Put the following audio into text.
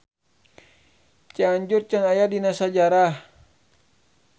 Cianjur can aya dina sajarah.